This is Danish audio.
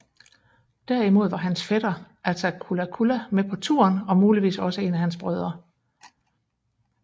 Derimod var hans fætter Attacullaculla med på turen og muligvis også en af hans brødre